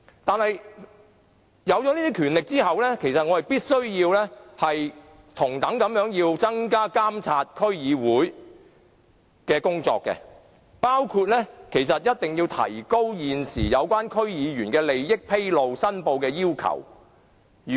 但是，區議會獲得這些權力後，我們必須同樣增加對區議會的監察，包括提高現時有關區議員利益披露和申報的要求。